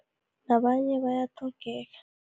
Nabanye bayatlhogeka.